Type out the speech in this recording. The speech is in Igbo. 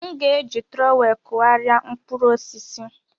M ga-eji trowel kụgharịa mkpụrụ osisi.